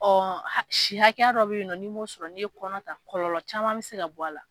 Ɔ si hakɛya dɔ bɛ yen n'i m'o sɔrɔ n'i ye kɔnɔta kɔlɔlɔ caman bɛ se ka bɔ a la.